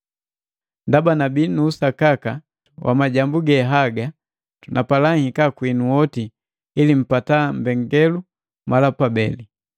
Ndaba nabii nu usakaka wa majambu ge haga, napala nhika kwinu oti, ili mpata mbengalelu mala pabeli.